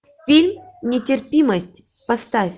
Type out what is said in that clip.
фильм нетерпимость поставь